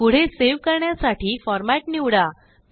पुढे सेव करण्यासाठीफॉर्मेट निवडा